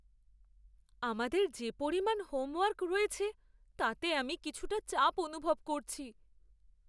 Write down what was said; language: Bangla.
আমাদের যে পরিমাণ হোমওয়ার্ক রয়েছে তাতে আমি কিছুটা চাপ অনুভব করছি!